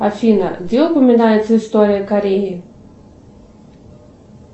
афина где упоминается история кореи